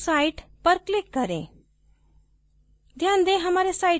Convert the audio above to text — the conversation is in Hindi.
फिर back to site पर click करें